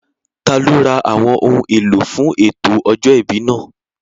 Taló ra àwọn ohun èlò fún ètò ọjọ́ ìbí náà?